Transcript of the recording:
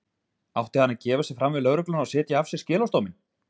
Átti hann að gefa sig fram við lögregluna og sitja af sér skilorðsdóminn?